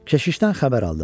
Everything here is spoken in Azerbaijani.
Keşişdən xəbər aldım.